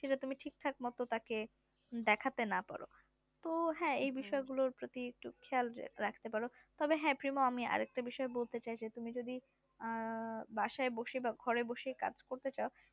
সেটা ঠিকঠাক মতো তাকে দেখতে যা পারো তো হ্যাঁ এই বিষয় গুলোর পতি একটু খেয়াল রাখতে পারো তবে হ্যাঁ প্রিমো আমি আর একটা বিষয় এ বলতে চাই তুমি যদি আহ বাসায় বসে বা ঘরে বসেই কাজ করতে চাও